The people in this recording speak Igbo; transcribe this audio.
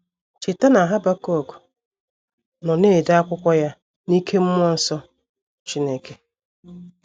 Cheta na Habakuk nọ na - ede akwụkwọ ya n’ike mmụọ nsọ Chineke.